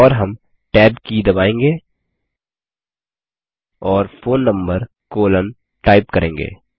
और हम टैब की दबाएँगे और फोन नंबर कोलोन टाइप करेंगे